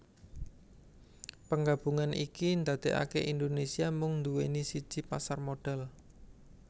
Penggabungan iki ndadekake Indonesia mung nduweni siji pasar modal